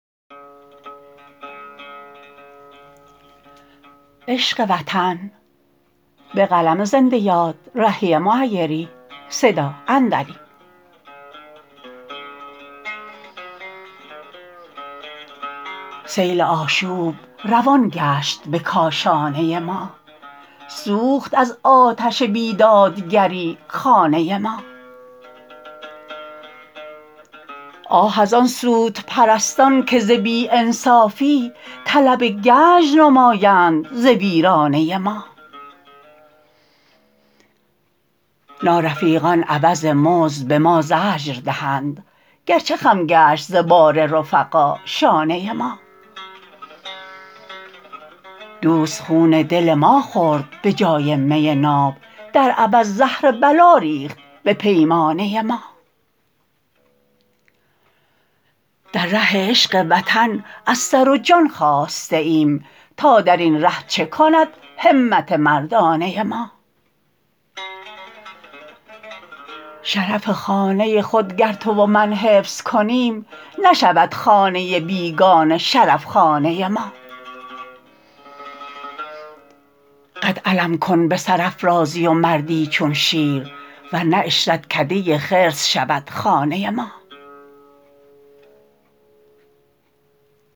سیل آشوب روان گشت به کاشانه ما سوخت از آتش بیدادگری خانه ما آه از آن سودپرستان که ز بی انصافی طلب گنج نمایند ز ویرانه ما نارفیقان عوض مزد به ما زجر دهند گرچه خم گشت ز بار رفقا شانه ما دوست خون دل ما خورد به جای می ناب در عوض زهر بلا ریخت به پیمانه ما در ره عشق وطن از سر و جان خاسته ایم تا در این ره چه کند همت مردانه ما شرف خانه خود گر تو و من حفظ کنیم نشود خانه بیگانه شرف خانه ما قد علم کن به سرافرازی و مردی چون شیر ورنه عشرتکده خرس شود لانه ما